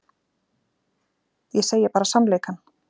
Ég segi bara sannleikann.